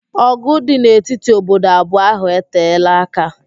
Ọ̀gụ̀ dị n'etiti obodo abụọ ahụ eteela aka.